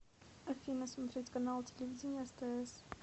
афина смотреть канал телевидения стс